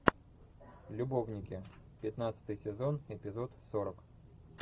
любовники пятнадцатый сезон эпизод сорок